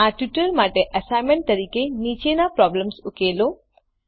આ ટ્યુટોરીયલ માટે એસાઈનમેન્ટ તરીકે નીચેનો પ્રોબ્લેમ ઉકેલો